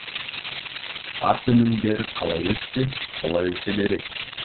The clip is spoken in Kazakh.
ас өнімдері қалай өссе солай өсе береді